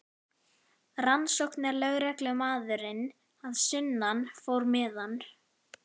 Rannsóknarlögreglumaðurinn að sunnan fór með hann.